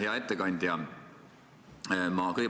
Hea ettekandja!